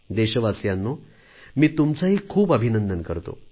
देशवासियांनो मी तुमचेही खूप अभिनंदन करतो